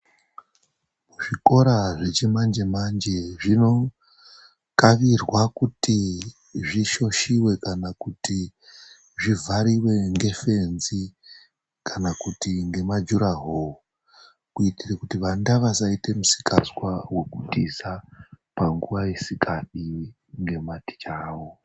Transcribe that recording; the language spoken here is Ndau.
Zvikora zvechimanje manje zvinokarirwa kuti zvishoshiwe kana kuti zvivhariwe ngefenzi kana kuti ngemajuraho kuitira kuti vana vasaite misikazwa wekutiza panguwa isikadiwi nevadzidzisi awo.